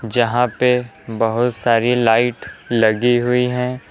जहां पे बहुत सारी लाइट लगी हुई हैं।